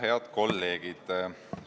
Head kolleegid!